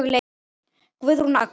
Guðrún Agnes.